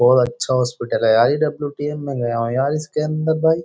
बहुत अच्छा हॉस्पिटल है यार ये डब्ल्यूटीएम में गया हूं यार इसके अंदर भाई।